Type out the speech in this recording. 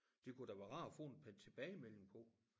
Det kunne da være rart at få en tilbagemelding på